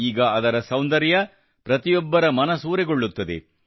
ಈಗ ಇದರ ಸೌಂದರ್ಯ ಪ್ರತಿಯೊಬ್ಬರ ಮನಸೂರೆಗೊಳ್ಳುತ್ತದೆ